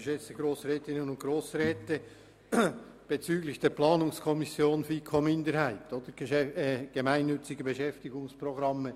Zur Planungserklärung der FiKo-Minderheit bezüglich der gemeinnützigen Beschäftigungsprogramme: